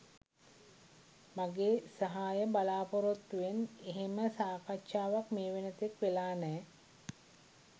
මගේ සහාය බලාපොරොත්තුවෙන් එහෙම සාකච්ඡාවක් මේ වෙන තෙක් වෙලා නෑ